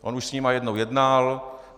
On už s nimi jednou jednal.